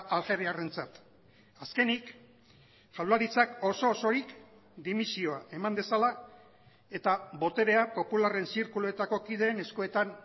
algeriarrentzat azkenik jaurlaritzak oso osorik dimisioa eman dezala eta boterea popularren zirkuluetako kideen eskuetan